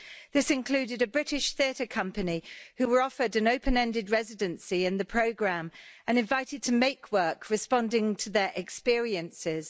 This included a British theatre company who were offered an open ended residency in the programme and invited to make work responding to their experiences.